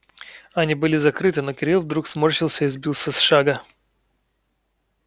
они были закрыты но кирилл вдруг сморщился и сбился с шага